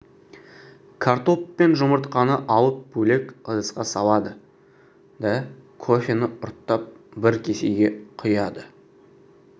картоп пен жұмыртқаны алып бөлек ыдысқа салады да кофені ұрттап бір кесеге құяды